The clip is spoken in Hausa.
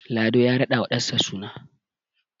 Lado ya radawa ɗansa suna